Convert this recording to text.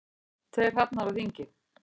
Tveir hrafnar á þingi.